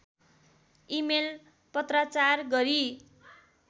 email पत्राचार गरी